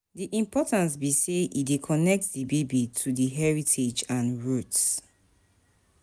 di importance be say e dey connect di baby to di heritage and roots.